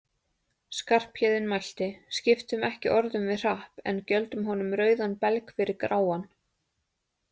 Skarphéðinn mælti: Skiptum ekki orðum við Hrapp, en gjöldum honum rauðan belg fyrir gráan